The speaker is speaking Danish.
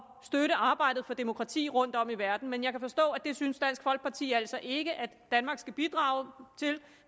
arbejdet for demokrati rundtom i verden men jeg kan forstå at det synes dansk folkeparti altså ikke at danmark skal bidrage til